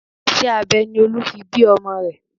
Iṣẹ́ abẹ ni Olú fi bí ọmọ rẹ̀